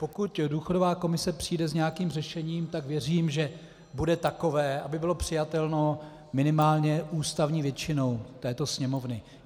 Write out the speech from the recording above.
Pokud důchodová komise přijde s nějakým řešením, tak věřím, že bude takové, aby bylo přijatelné minimálně ústavní většinou této Sněmovny.